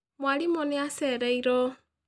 Mwarimũ nĩ acereirwo